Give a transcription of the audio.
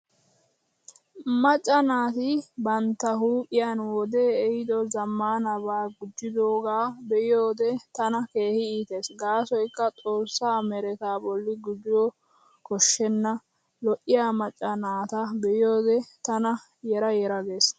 Macca naati bantta huuphiyaani wode ehiido zammaanabaa gujjidoogaa be'iyoode tana keehi iitees gaasoykka xoossaa meretaa bolli gujo koshshenna. Lo'iyaa macca naata be'iyoode tana yera yera gees.